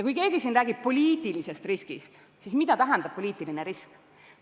Siin on räägitud poliitilisest riskist, aga mida tähendab poliitiline risk?